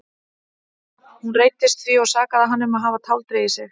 Hún reiddist því og sakaði hann um að hafa táldregið sig.